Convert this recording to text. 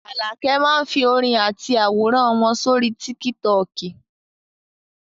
Àlàkẹ́ máá ń fi orin àti àwòrán wọn sórí tíkítọọ̀kì